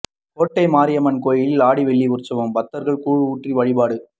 கோட்டை மாரியம்மன் கோயிலில் ஆடி வெள்ளி உற்சவம் பக்தர்கள் கூழ் ஊற்றி வழிபாடு